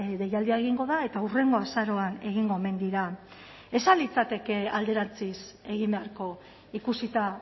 deialdia egingo da eta hurrengo azaroan egingo omen dira ez al litzateke alderantziz egin beharko ikusita